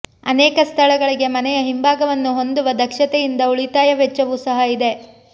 ಅನೇಕ ಸ್ಥಳಗಳಿಗೆ ಮನೆಯ ಹಿಂಭಾಗವನ್ನು ಹೊಂದುವ ದಕ್ಷತೆಯಿಂದಾಗಿ ಉಳಿತಾಯ ವೆಚ್ಚವೂ ಸಹ ಇದೆ